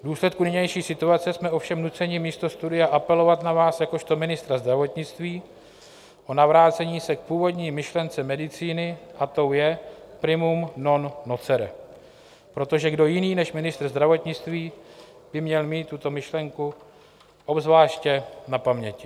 V důsledku nynější situace jsme ovšem nuceni místo studia apelovat na vás jakožto ministra zdravotnictví o navrácení se k původní myšlence medicíny, a tou je primum non nocere, protože kdo jiný než ministr zdravotnictví by měl mít tuto myšlenku obzvláště na paměti.